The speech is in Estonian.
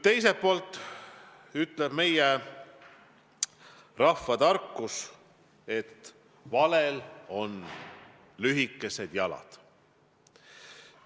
Teiselt poolt ütleb meie rahvatarkus, et valel on lühikesed jalad.